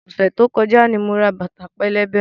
Ọ̀sẹ̀ tó kọjá ni mo ra bàtà pẹlẹbẹ.